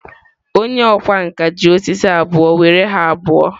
Onye ọkwá nkà ji osisi abụọ were ha abụọ were were were were were were were were were ha abụọ.